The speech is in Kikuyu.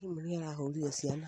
Mwarimu nĩarahũrire ciana